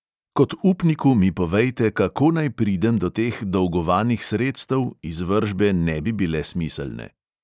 Kot upniku mi povejte, kako naj pridem do teh dolgovanih sredstev, izvršbe ne bi bile smiselne.